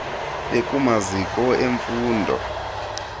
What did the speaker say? bekumaziko em fundo